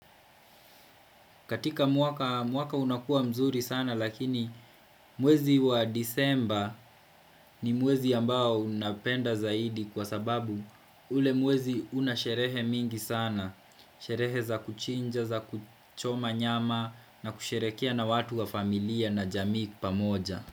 Katika mwaka unakua mzuri sana lakini mwezi wa disemba ni mwezi ambao unapenda zaidi kwa sababu ule mwezi una sherehe mingi sana. Sherehe za kuchinja, za kuchoma nyama na kusherehekea na watu wa familia na jamii pamoja.